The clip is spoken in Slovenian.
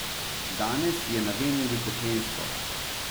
Danes je na Veneri peklensko.